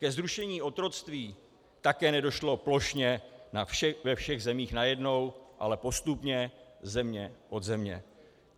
Ke zrušení otroctví také nedošlo plošně ve všech zemích najednou, ale postupně země od země.